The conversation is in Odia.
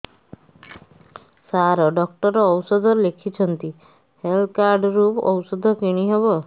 ସାର ଡକ୍ଟର ଔଷଧ ଲେଖିଛନ୍ତି ହେଲ୍ଥ କାର୍ଡ ରୁ ଔଷଧ କିଣି ହେବ